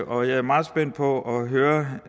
og jeg er meget spændt på at høre